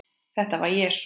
Þetta var Jesús